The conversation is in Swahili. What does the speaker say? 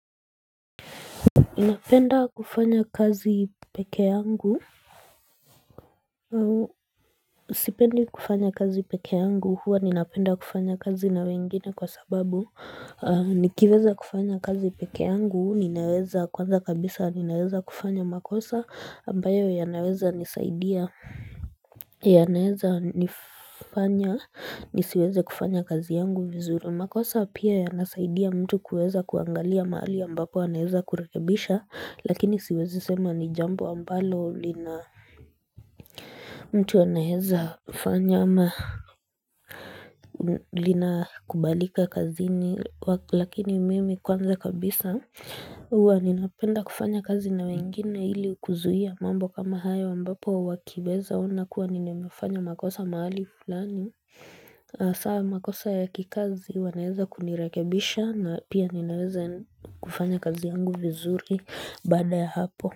Ninapenda kufanya kazi peke yangu Sipendi kufanya kazi peke yangu huwa ninapenda kufanya kazi na wengine kwa sababu Nikiweza kufanya kazi peke yangu huu ninaweza kwanza kabisa ninaweza kufanya makosa ambayo yanaweza nisaidia ya naeza nifanya nisiweze kufanya kazi yangu vizuru makosa pia ya nasaidia mtu kuweza kuangalia mahali ambapo ya naeza kurekebisha lakini siwezi sema ni jambo ambalo lina mtu anaeza fanya ama lina kubalika kazini lakini mimi kwanza kabisa huwa ninapenda kufanya kazi na wengine hili kuzuia mambo kama haya ambapo wakiweza ona kuwa ninemefanya makosa mahali fulani hasa makosa ya kikazi wanaeza kunirekebisha na pia ninaweza kufanya kazi yangu vizuri baada ya hapo.